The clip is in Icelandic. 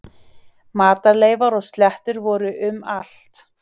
Matarleifar og slettur voru um allt.